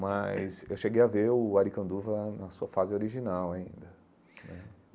Mas eu cheguei a ver o Arikanduva na sua fase original ainda.